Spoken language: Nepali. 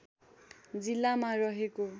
जिल्लामा रहेको